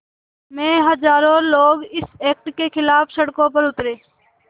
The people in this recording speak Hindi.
में हज़ारों लोग इस एक्ट के ख़िलाफ़ सड़कों पर उतरे